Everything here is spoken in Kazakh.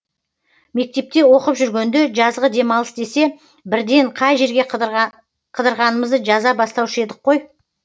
мектепте оқып жүргенде жазғы демалыс десе бірден қай жерге қыдырғанымызды жаза бастаушы едік қой